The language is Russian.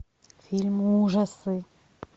фильмы ужасы